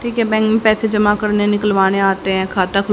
ठीक है बैंक मे पैसे जमा करने निकलवाने आते हैं खाता खुल--